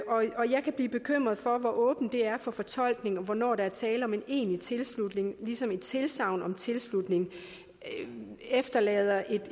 kan blive bekymret for hvor åbent det er for fortolkning og hvornår der er tale om en egentlig tilslutning ligesom et tilsagn om tilslutning efterlader et